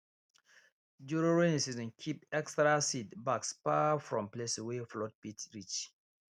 during rainy season keep extra seed bags far from places wey flood fit reach